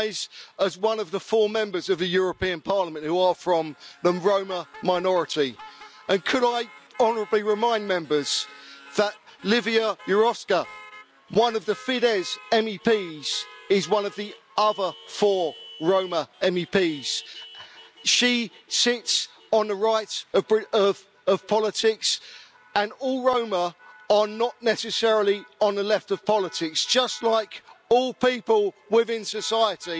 I rise as one of the four Members of the European Parliament who are from the Roma minority, and could I honourably remind Members that Lívia Járóka, one of the Fidesz MEPs, is one of the other four Roma MEPs. She sits on the right of politics and not all Roma are necessarily on the left of politics, just like all people within society,